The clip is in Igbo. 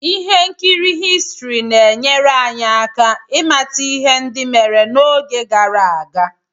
ihe nkiri Histrị na-enyere anyị aka ịmata ihe ndị mere n'oge gara aga